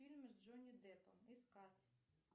фильмы с джонни деппом искать